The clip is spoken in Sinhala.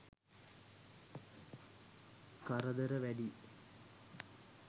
කරදර වැඩියි.